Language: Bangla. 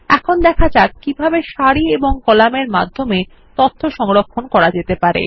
এখন দেখা যাক কিভাবে সারি এবং কলামের মাধ্যমে তথ্য সংরক্ষণ করা যেতে পারে